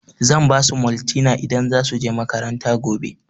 Zan basu maltina idan za su je makaranta gobe